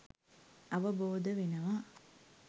අවබෝධ වෙනවා.